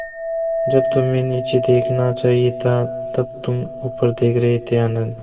जब तुम्हें नीचे देखना चाहिए था तब तुम ऊपर देख रहे थे आनन्द